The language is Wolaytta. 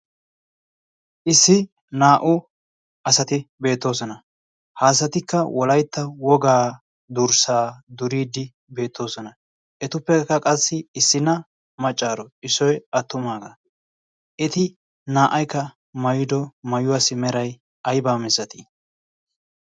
issi naa"u asati beettoosona. haasatikka wolaitta wogaa durssaa duriiddi beettoosona. etuppekka qassi issi na maccaaro issoi attumaagaa eti naa"aykka mayido maayuwaasi meray aybaa missatii?